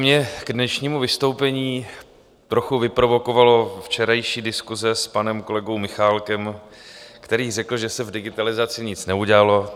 Mě k dnešnímu vystoupení trochu vyprovokovala včerejší diskuse s panem kolegou Michálkem, který řekl, že se v digitalizaci nic neudělalo.